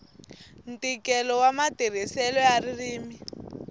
ntikelo wa matirhiselo ya ririmi